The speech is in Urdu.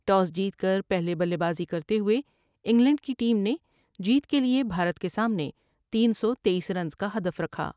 ٹاس جیت کر پہلے بلے بازی کرتے ہوۓ انگلینڈ کی ٹیم نے جیت کے لئے بھارت کے سامنے تین سو تییس رنز کا حدف رکھا ۔